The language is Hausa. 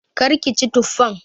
Kar ki ci tuffan!